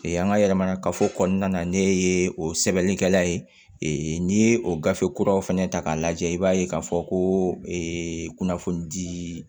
an ka yɛlɛmana kafo kɔnɔna na ne ye o sɛbɛnnikɛla ye n'i ye o gafe kuraw fɛnɛ ta k'a lajɛ i b'a ye k'a fɔ ko ee kunnafoni di